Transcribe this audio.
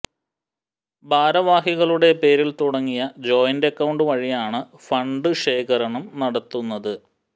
ഭാരവാഹികളുടെ പേരിൽ തുടങ്ങിയ ജോയിന്റ് അക്കൌണ്ട് വഴിയാണ് ഫണ്ട് ശേഖരണം നടത്തുന്നത്